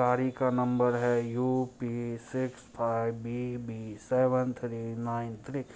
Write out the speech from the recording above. car का number है U P छह पांच B B seven three nine three --